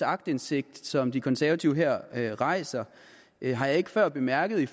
aktindsigt som de konservative her rejser har jeg ikke før bemærket i